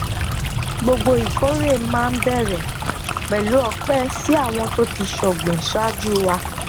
gbogbo ìkórè máa ń bẹrẹ pẹlú ọpẹ si àwọn tó ti sògbìn ṣáájú wa